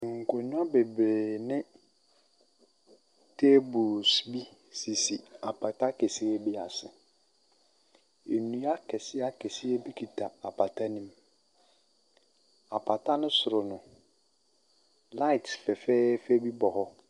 Nkonnwa bebree ne tables bi sisi apata kɛseɛ bi ase. Nnua akɛseakɛseɛ bi kita apata no mu. Apata no soro no, light fɛfɛɛfɛ bi bɔ hɔ.